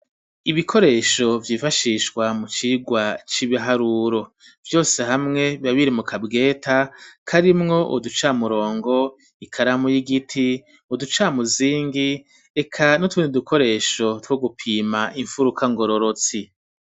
Ibikoresho vyifashishwa mu cirwa c'ibiharuro vyose hamwe biba biri mukabweta karimwo uducamurongo ikaramu y'igiti uducamuzingi eka n'utunid dukoresho two gupima imfuruka ngororotsi